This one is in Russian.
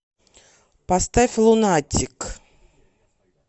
поставь лунатик